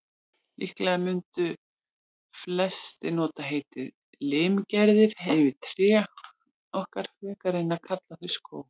Líklega mundu flestir nota heitið limgerði yfir trén okkar, frekar en að kalla þau skóg.